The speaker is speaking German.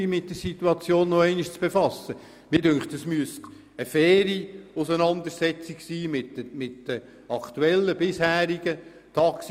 Mir scheint, es müsste eine faire Auseinandersetzung mit den bisherigen Taxiunternehmen geben.